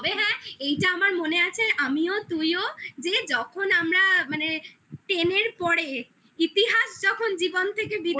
তবে হ্যাঁ এইটা আমার মনে আছে আমিও তুইও যে যখন আমরা মানে ten এর পরে ইতিহাস যখন জীবন থেকে বিদায়